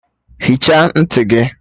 Hichaa ntị gị!